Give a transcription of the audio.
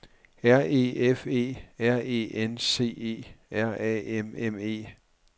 R E F E R E N C E R A M M E